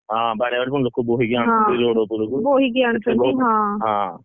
ରୁଆରୁଇ, କଟାକଟି ଲୋକ ପୁଣି ହଁ ବାଡାବାଡି, ଲୋକ ପୁଣି ବୋହିକି ଆଣୁଛନ୍ତି road ଉପରକୁ।